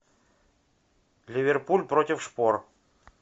ливерпуль против шпор